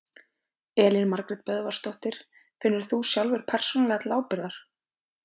Elín Margrét Böðvarsdóttir: Finnur þú sjálfur persónulega til ábyrgðar?